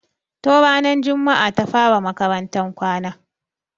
Tun ranar jumaa ta fara makarantan kwana.